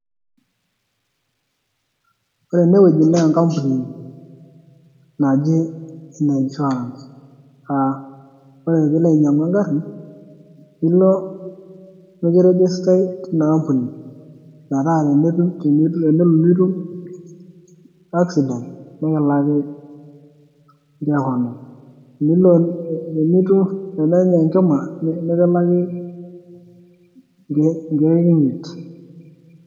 Ore enewueji naa enkampuni naji ene insurance aa ore peilo ainyiang'u engari nilo mekirigistai tina ampuni metaa tenelo nitum accident nekilaki government tenelo nenya enkima nikilaki inkiek imiet.